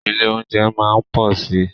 Ilé óúnjẹ máa má pọ̀ si.